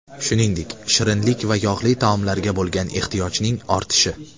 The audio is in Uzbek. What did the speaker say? Shuningdek, shirinlik va yog‘li taomlarga bo‘lgan ehtiyojning ortishi.